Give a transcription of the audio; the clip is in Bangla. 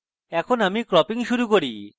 এখন আমি cropping শুরু করি